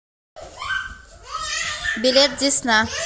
билет десна